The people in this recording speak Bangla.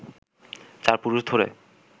চার পুরুষ ধরে